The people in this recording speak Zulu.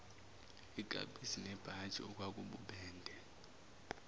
ikapisi nebhantshi okwakububende